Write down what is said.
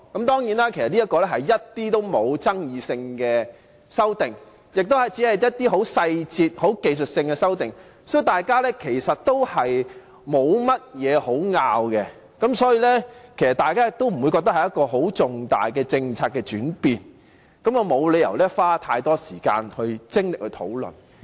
當然，相關的修訂其實一點爭議也沒有，亦只屬一些細節和技術性的修訂，大家其實沒有甚麼可以爭拗，也不會覺得是很重大的政策轉變，沒有理由花太多時間和精力來討論。